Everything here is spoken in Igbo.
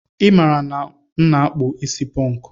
I mara na m na akpu isi ponku